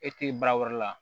E te baara wɛrɛ la